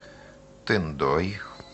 тындой